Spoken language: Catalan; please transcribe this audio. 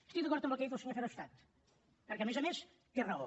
estic d’acord amb el que ha dit el senyor verhofstadt perquè a més a més té raó